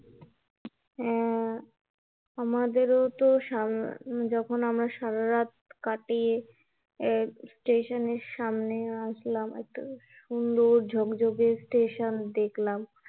হ্যা, আমাদের ও তো সারারাত কাটিয়ে এক স্টেশনের সামনে আসলাম, এত সুন্দর ঝকঝকে স্টেশন দেখলাম